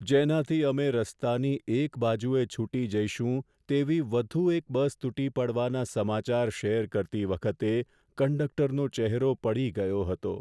જેનાથી અમે રસ્તાની એક બાજુએ છૂટી જઈશું તેવી વધુ એક બસ તૂટી પડવાના સમાચાર શેર કરતી વખતે કંડક્ટરનો ચહેરો પડી ગયો હતો.